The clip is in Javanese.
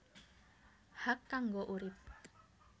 Hak kanggo urip